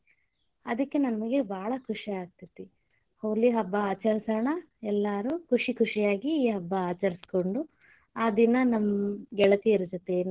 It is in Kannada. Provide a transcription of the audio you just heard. ಅದಕ್ಕೆ ನಮಗೇ ಬಾಳ ಖುಷಿ ಆಗತೇತಿ, ಹೋಳಿ ಹಬ್ಬಾ ಆಚರಸೊಣ ಎಲ್ಲಾರು ಖುಷಿ ಖುಷಿಯಾಗಿ ಈ ಹಬ್ಬಾ ಆಚರಸಕೊಂಡು, ಆ ದಿನಾ ನಮ್ಮ ಗೆಳತಿಯರ ಜೊತೆ.